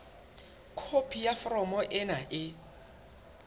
khopi ya foromo ena e